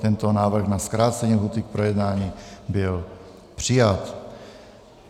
Tento návrh na zkrácení lhůty k projednání byl přijat.